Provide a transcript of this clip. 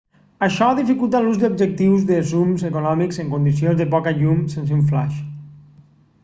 això dificulta l'ús d'objectius de zoom econòmics en condicions de poca llum sense un flaix